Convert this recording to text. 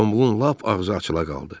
Gombulun lap ağzı açıla qaldı.